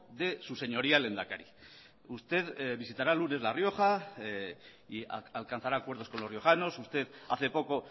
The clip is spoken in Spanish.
de su señoría al lehendakari usted visitará el lunes la rioja y alcanzará acuerdos con los riojanos usted hace poco